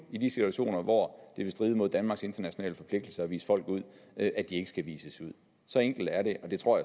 i de situationer hvor det vil stride mod danmarks internationale forpligtelser at vise folk ud at at de ikke skal vises ud så enkelt er det og det tror